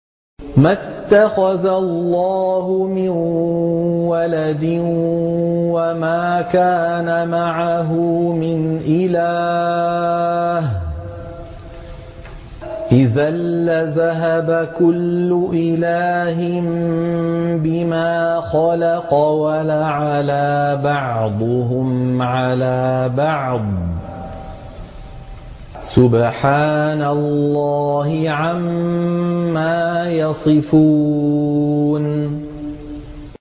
مَا اتَّخَذَ اللَّهُ مِن وَلَدٍ وَمَا كَانَ مَعَهُ مِنْ إِلَٰهٍ ۚ إِذًا لَّذَهَبَ كُلُّ إِلَٰهٍ بِمَا خَلَقَ وَلَعَلَا بَعْضُهُمْ عَلَىٰ بَعْضٍ ۚ سُبْحَانَ اللَّهِ عَمَّا يَصِفُونَ